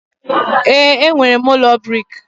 ee, enwere m ụlọ brik